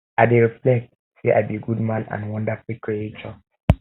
i dey reflect say i be good man and wonderful creature